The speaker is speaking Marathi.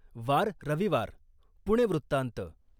वार रविवार पुणे वृत्तांत ....